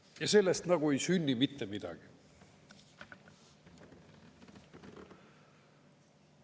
Ja sellest nagu ei sünni mitte midagi.